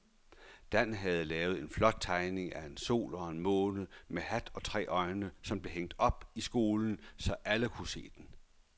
Dan havde lavet en flot tegning af en sol og en måne med hat og tre øjne, som blev hængt op i skolen, så alle kunne se den.